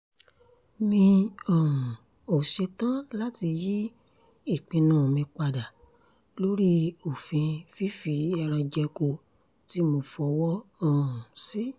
mi um ò ṣetán láti yí ìpinnu mi padà lórí òfin fífi ẹran jẹko tí mo fọwọ́ um sí